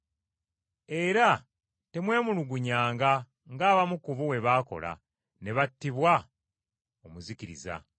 Era temwemulugunyanga ng’abamu ku bo bwe baakola, ne battibwa omuzikiriza.